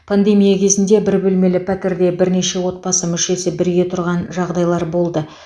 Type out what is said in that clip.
пандемия кезінде бір бөлмелі пәтерде бірнеше отбасы мүшесі бірге тұрған жағдайлар болды